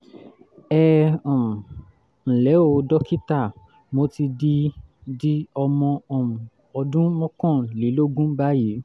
ẹ um ǹlẹ́ o dókítà mo ti di di ọmọ um ọdún mọ́kànlélógún báyìí